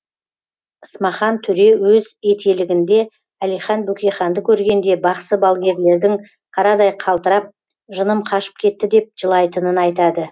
смахан төре өз етелігінде әлихан бөкейханды көргенде бақсы балгерлердің қарадай қалтырап жыным қашып кетті деп жылайтынын айтады